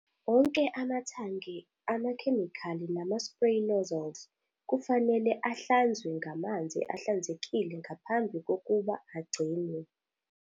Onke amathange amakhemikhali nama-spray nozzles kufanele ahlanzwe ngamanzi ahlanzekile ngaphambi kokuba agcinwe.